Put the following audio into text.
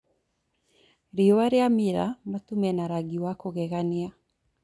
Riũa rĩamĩra, matu mena rangi wa kũgegania.